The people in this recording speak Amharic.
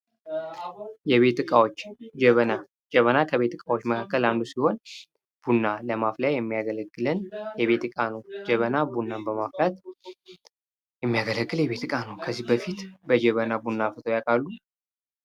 የቤት ዕቃዎች ጀበና ጀበና ከቤት ዕቃዎች መካከል አንዱ ሲሆን ቡና ለማፍላት የሚያገለግለን የቤት ዕቃ ነው። ጀበና ቡናን ለማፍላት የሚያገለግል የቤት ዕቃ ነው። ከዚህ በፊት በጀበና ቡና አፍልታው ያውቃሉ?